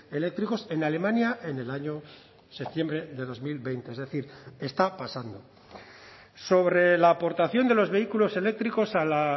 eléctricos en alemania en el año septiembre de dos mil veinte es decir está pasando sobre la aportación de los vehículos eléctricos a la